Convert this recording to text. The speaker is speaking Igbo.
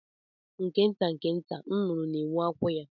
Nke nta nke nta, nnụnụ na-ewu akwụ ya.